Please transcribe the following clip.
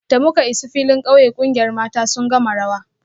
Da muka isa filin kauye, kungiyar mata sun gama rawa